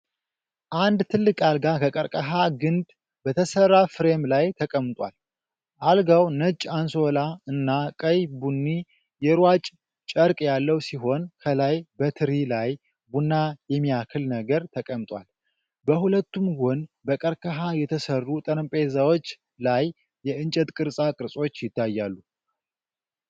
አንድ ትልቅ አልጋ ከቀርከሃ ግንድ በተሰራ ፍሬም ላይ ተቀምጧል። አልጋው ነጭ አንሶላ እና ቀይ ቡኒ የሯጭ ጨርቅ ያለው ሲሆን፤ ከላይ በትሪ ላይ ቡና የሚያክል ነገር ተቀምጧል። በሁለቱም ጎን በቀርከሃ የተሰሩ ጠረጴዛዎች ላይ የእንጨት ቅርጻ ቅርጾችይታያሉ።